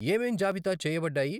ఏమేం జాబితా చేయబడ్డాయి?